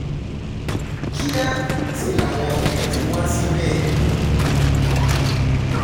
kíá sì làwọn yẹn ti wá síbẹ̀